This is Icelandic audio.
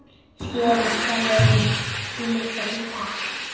Hún hafði mikil áhrif.